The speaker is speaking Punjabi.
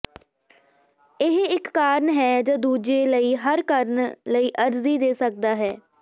ਇਹ ਇਕ ਕਾਰਨ ਹੈ ਜ ਦੂਜੇ ਲਈ ਹਰ ਕਰਨ ਲਈ ਅਰਜ਼ੀ ਦੇ ਸਕਦਾ ਹੈ